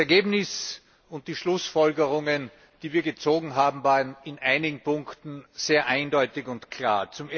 Das Ergebnis und die Schlussfolgerungen, die wir gezogen haben, waren in einigen Punkten sehr eindeutig und klar.